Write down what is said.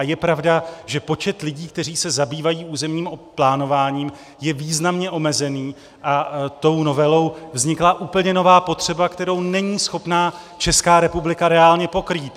A je pravda, že počet lidí, kteří se zabývají územním plánováním, je významně omezený a tou novelou vznikla úplně nová potřeba, kterou není schopná Česká republika reálně pokrýt.